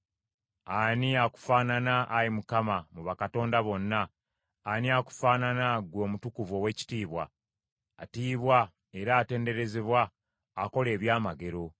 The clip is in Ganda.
Ani akufaanana, Ayi Mukama , mu bakatonda bonna? Ani akufaanana, ggwe, Omutukuvu Oweekitiibwa, atiibwa era atenderezebwa, akola ebyamagero?